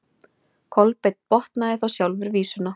Kolbeinn botnaði þá sjálfur vísuna: